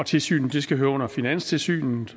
tilsynet skal høre under finanstilsynet